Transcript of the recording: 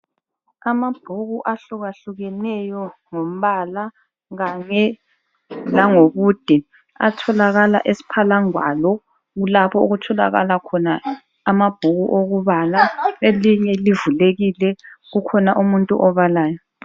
Amabhuku ahlukahlukeneyo ngombala kanye lango bude athokala esphalangwalo kulapho okuthokala khona amabhuku okubala elinye livulekile kukhona umuntu obalayo.